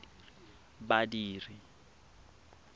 badiri